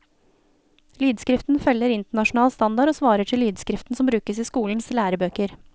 Lydskriften følger internasjonal standard og svarer til lydskriften som brukes i skolens lærebøker.